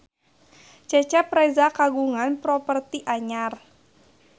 Cecep Reza kagungan properti anyar